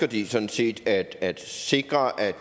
de sådan set at at sikre at